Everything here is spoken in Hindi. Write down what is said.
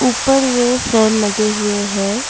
ऊपर में फैन लगे हुए हैं।